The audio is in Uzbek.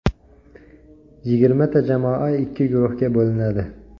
Yigirmata jamoa ikki guruhga bo‘linadi.